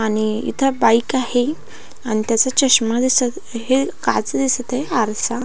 आणि इथ बाइक आहे आणि त्याचा चश्मा दिसत हे काच दिसत आहे आरसा --